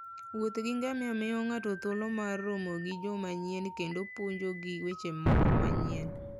Wuoth gi ngamia miyo ng'ato thuolo mar romo gi joma nyien kendo puonjogi weche moko manyien.